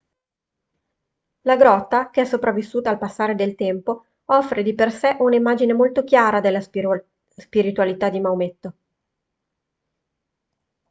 la grotta che è sopravvissuta al passare del tempo offre di per sé un'immagine molto chiara della spiritualità di maometto